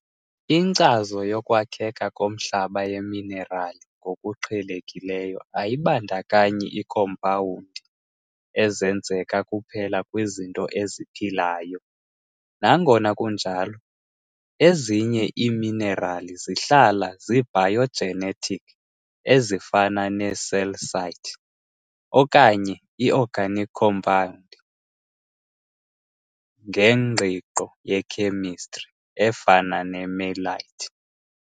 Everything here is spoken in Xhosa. Inkcazo yokwakheka komhlaba yeminerali ngokuqhelekileyo ayibandakanyi iikhompawundi ezenzeka kuphela kwizinto eziphilayo. Nangona kunjalo, ezinye iiminerali zihlala zi-biogenic, ezifana ne-calcite, okanye i-organic compounds ngengqiqo ye-chemistry, efana ne-melite.